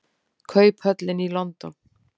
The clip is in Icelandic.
Kauphöllin í London.